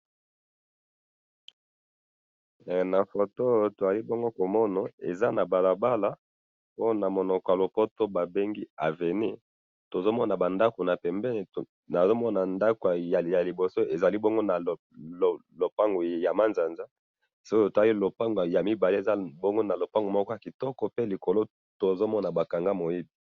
Na photo oyo tozali bongo komona eza na balabala oyo na monoko ya lopoto babengi avenue nazomona ndako ya liboso ezali bongo na lopango ya manzanza soki totali ya mibale eza bongo na lopango moko ya kitoko pe likolo tozomona ba kanga moibi